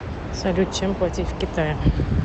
салют чем платить в китае